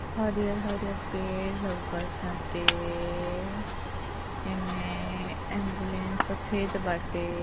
हरिहर-हरिहर पेड़ लउकताटे। एमे एम्बुलेंस सफ़ेद बाटे।